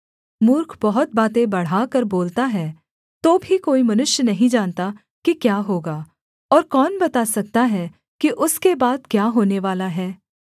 मूर्ख बहुत बातें बढ़ाकर बोलता है तो भी कोई मनुष्य नहीं जानता कि क्या होगा और कौन बता सकता है कि उसके बाद क्या होनेवाला है